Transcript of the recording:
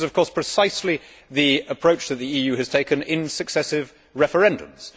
This is, of course, precisely the approach that the EU has taken in successive referendums.